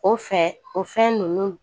O fɛ o fɛn ninnu